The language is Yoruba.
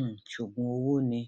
um ṣoògùn owó ni